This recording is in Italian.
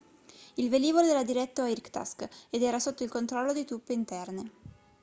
il velivolo era diretto a irkutsk ed era sotto il controllo di truppe interne